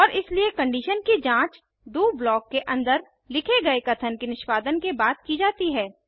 और इसलिए कंडीशन की जांच डीओ ब्लॉक के अंदर लिखे गए कथन के निष्पादन के बाद की जाती है